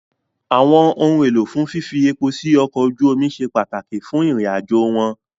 Àwọn ohun èlò fún fífi epo sí ọkọ̀ ojú omi ṣe pàtàkì fún ìrìnàjò wọn